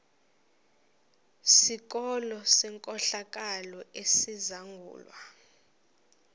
sikolo senkohlakalo esizangulwa